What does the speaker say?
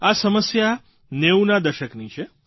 આ સમસ્યા 90ના દશકની છે